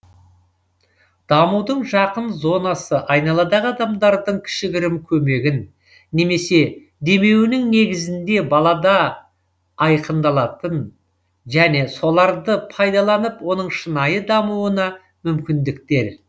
дамудың жақын зонасы айналадағы адамдардың кішігірім көмегін немесе демеуінің негізінде балада айқындалатын және соларды пайдаланып оның шынайы дамуына мүмкіндіктер